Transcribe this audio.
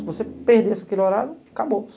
Se você perdesse aquele horário, acabou.